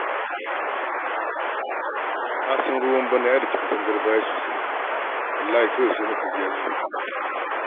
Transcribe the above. Ka san ruwan bana ya daki katangar baya sosai, wallahi kawai sai muka ji ta zube.